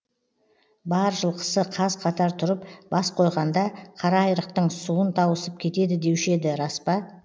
бар жылқысы қаз қатар тұрып бас қойғанда қара айрықтың суын тауысып кетеді деуші еді рас па